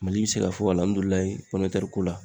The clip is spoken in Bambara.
Mali be se ka fɔ alihamudulilayi pɔminɛtɛri ko la